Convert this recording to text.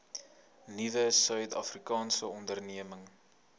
nuwe suidafrikaanse ondernemings